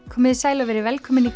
komið þið sæl og verið velkomin í